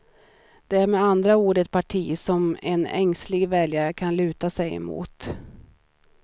De är med andra ord ett parti som en ängslig väljare kan luta sig emot.